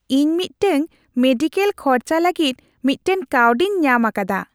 ᱤᱧ ᱢᱤᱫᱴᱟᱝ ᱢᱮᱰᱤᱠᱮᱞ ᱠᱷᱚᱨᱪᱟ ᱞᱟᱹᱜᱤᱫ ᱢᱤᱫᱴᱟᱝ ᱠᱟᱹᱣᱰᱤᱧ ᱧᱟᱢ ᱟᱠᱟᱫᱟ ᱾